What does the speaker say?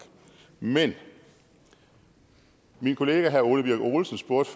men min kollega herre ole birk olesen spurgte